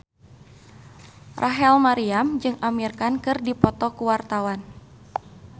Rachel Maryam jeung Amir Khan keur dipoto ku wartawan